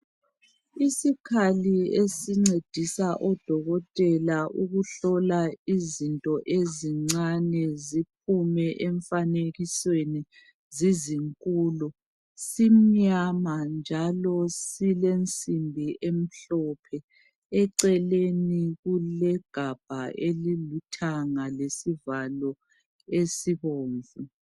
Isikhali esingcedisa udokotela ukuhlola izinto ezincane ziphume emfanekisweni zizinkulu simnyama njalo silemzila emhlophe eceleni kulegabha elilithanga lesivalo esibomvu